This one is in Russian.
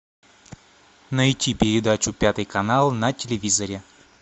найти передачу пятый канал на телевизоре